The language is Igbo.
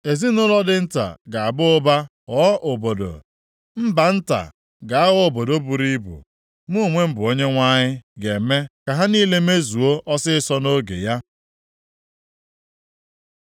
Ezinaụlọ dị nta ga-aba ụba ghọọ obodo, mba nta ga-aghọ obodo buru ibu. Mụ onwe m bụ Onyenwe anyị, ga-eme ka ha niile mezuo ọsịịsọ nʼoge ya.”